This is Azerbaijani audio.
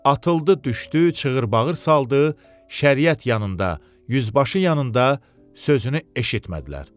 Atıldı, düşdü, çığırtı-bağırtı saldı, Şəriət yanında, yüzbaşı yanında sözünü eşitmədilər.